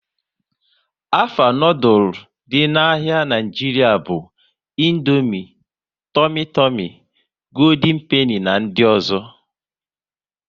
Afa noodules dị n'ahia Nigeria bụ Indomie, Tumi Tumi, Gooldin Peni na ndị ọzọ